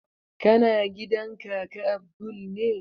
Kana gidan kaka abdul ne?